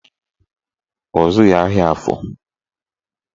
Ọ zụghị ahịa Afọ